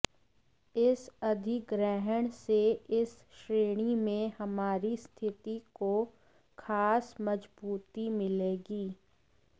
इस अधिग्रहण से इस श्रेणी में हमारी स्थिति को खास मजबूती मिलेगी